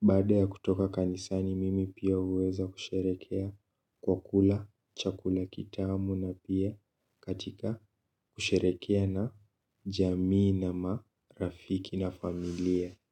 baada ya kutoka kanisani, mimi pia huweza kusherehekea kwa kula, chakula kitamu na pia katika kusherehekea na jamii na marafiki na familia.